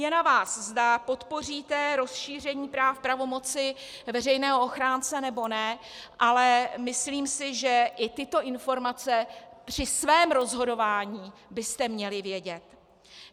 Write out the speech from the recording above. Je na vás, zda podpoříte rozšíření práv pravomoci veřejného ochránce, nebo ne, ale myslím si, že i tyto informace při svém rozhodování byste měli vědět.